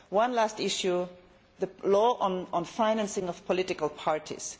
One last issue the law on financing of political parties.